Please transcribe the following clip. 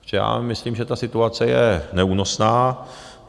Protože já myslím, že ta situace je neúnosná